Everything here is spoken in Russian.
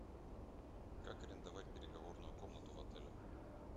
как арендовать переговорную комнату в отеле